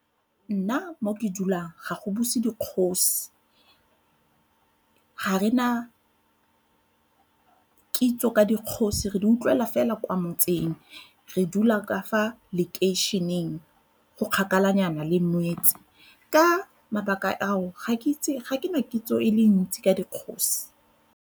Nna mo ke dulang ga go buse dikgosi. Ga re na kitso ka dikgosi re di utlwela fela kwa motseng re dula ka fa lekeišeneng go kgakala nyana le . Ka mabaka ao ga ke itse, ga ke na kitso e le ntsi ka dikgosi.